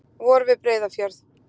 Vor við Breiðafjörð.